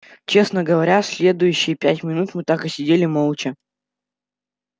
честно говоря следующие пять минут мы так и сидели молча